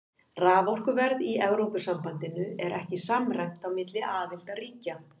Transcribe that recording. Raforkuverð í Evrópusambandinu er ekki samræmt á milli aðildarríkja.